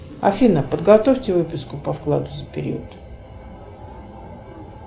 афина подготовьте выписку по вкладу за период